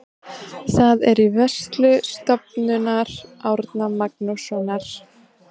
Það er í vörslu Stofnunar Árna Magnússonar.